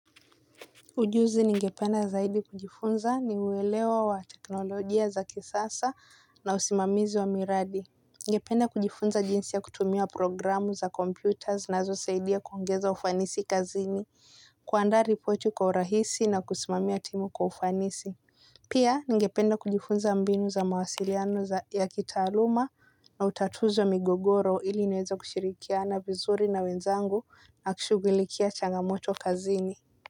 Ujuzi ningependa zaidi kujifunza ni uwelewa wa teknolojia za kisasa na usimamizi wa miradi. Ningependa kujifunza jinsi ya kutumia programu za computer zinazosaidia kuongeza ufanisi kazini kuandaa ripoti kwa urahisi na kusimamia timu kwa ufanisi. Pia ningependa kujifunza mbinu za mawasiliano ya kitaaluma na utatuzi wa migogoro ili niweza kushirikiana vizuri na wenzangu na kushugulikia changamoto kazini.